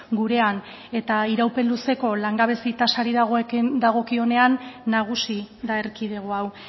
gurean eta iraupen luzeko langabezia tasari dagokionean nagusi da erkidego hau